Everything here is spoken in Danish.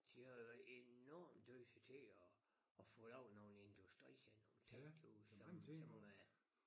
De har jo været enormt dygtige til at at få lavet nogen industrier og nogen ting derude som som øh